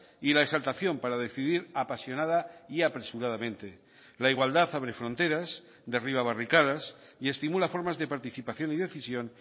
y la exaltación para decidir apasionada y apresuradamente la igualdad abre fronteras derriba barricadas y estimula formas de participación y decisión